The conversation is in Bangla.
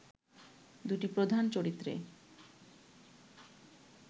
দুটি প্রধান চরিত্রে